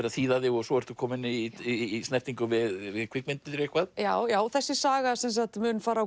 að þýða þig og svo ertu komin í snertingu við kvikmyndir eitthvað já já þessi saga mun fara